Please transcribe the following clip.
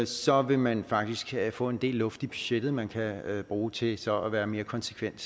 så vil man faktisk få en del luft i budgettet som man kan bruge til så at være mere konsekvent